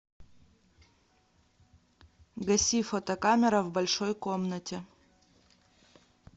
гаси фотокамера в большой комнате